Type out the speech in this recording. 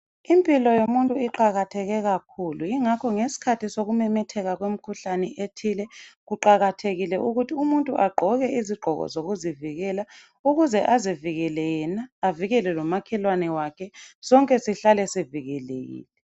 Impilo yomuntu iqakatheke kakhulu yingakho ngesikhathi sokumemetheka kwemkhuhlane ethile kuqakathekile ukuthi umuntu agqoke izigqoko zokuzivikela ukuze azivikele yena avikele lomakhelwane wakhe sonke sihlale sivikelekile